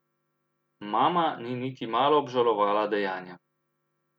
Mama ni niti malo obžalovala dejanja.